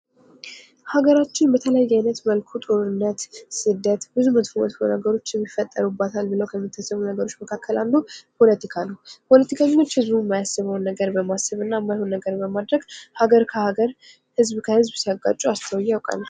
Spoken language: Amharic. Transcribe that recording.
ሀገራችን በተለያየ አይነት መልኩ ጦርነት፣ ስደት ብዙ መጥፎ፤ መጥፎ ነገሮች የሚፈጸሙ ነገሮች ምካከል አንዱ ፖለቲካ ነው። ፖለቲካኞች ህዝቡ እማያስበውን ነገር በማሰብ እና እማይሆን ነገር በማድረግ ሃገር ከሃገር ህዝብ ከህዝብ ሲያጋጩ አስተውዪ አውቃለሁ።